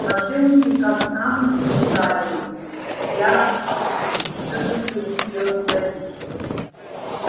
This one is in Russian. мошенники как там ни шарили я всё-таки успел утаить